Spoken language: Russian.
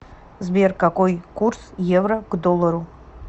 сбер какой курс евро к доллару